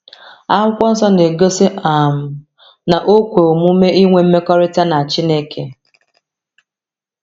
Akwụkwọ Nsọ na-egosi um na o kwe omume ịnwe mmekọrịta na Chineke.